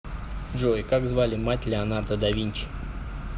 джой как звали мать леонардо да винчи